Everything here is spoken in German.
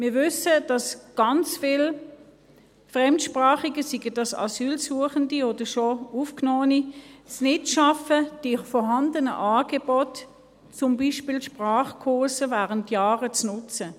Wir wissen, dass ganz viele Fremdsprachige, seien das Asylsuchende oder schon Aufgenommene, es nicht schaffen, die vorhandenen Angebote, zum Beispiel die Sprachkurse, während Jahren zu nutzen.